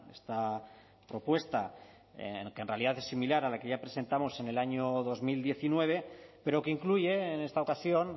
esta propuesta que en realidad es similar a la que ya presentamos en el año dos mil diecinueve pero que incluye en esta ocasión